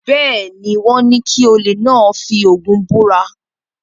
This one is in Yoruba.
Bẹ́ẹ̀ ni, wọ́n ní kí olè náà fi Ògún búra.